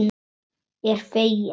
Er fegin.